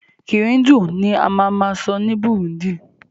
Kirundi ni a ma ma sọ ní Burundi